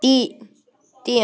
Gídeon